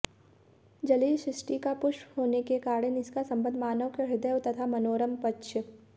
जलीय सृष्टि का पुष्प होने के कारण इसका संबंध मानव के ह्रदय तथा मनोरम पक्ष